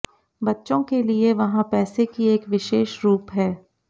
बच्चों के लिए वहाँ पैसे की एक विशेष रूप है